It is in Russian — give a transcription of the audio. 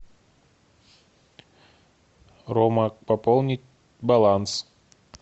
рома пополнить баланс